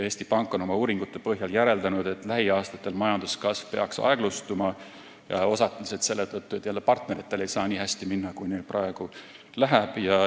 Eesti Pank on oma uuringute põhjal järeldanud, et lähiaastatel peaks majanduskasv aeglustuma, osaliselt selle tõttu, et partneritel ei saa kogu aeg minna nii hästi, kui neil praegu läheb.